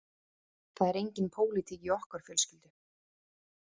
Það er engin pólitík í okkar fjölskyldu